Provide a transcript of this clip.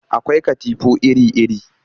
Akwai katifu iri-iri